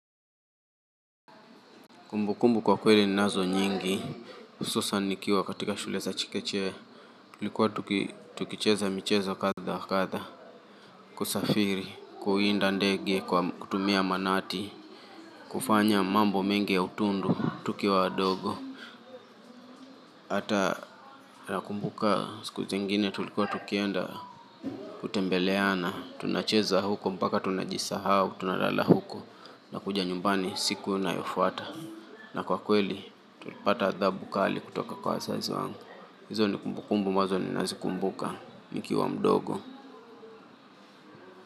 Kumbukumbu kwa kweli ninazo nyingi, hususan nikiwa katika shule za chekechea. Tulikuwa tukicheza michezo kadha wa kadha, kusafiri, kuwinda ndege kwa kutumia manati, kufanya mambo mingi ya utundu, tukiwa wadogo. Hata nakumbuka siku zengine tulikuwa tukienda kutembeleana, tunacheza huko mpaka tunajisahau, tunalala huko, nakuja nyumbani siku inayofuata. Na kwa kweli, tulipata adhabu kali kutoka kwa wazazi wangu. Hizo ni kumbukumbu ambazo ninazikumbuka. Nikiwa mdogo.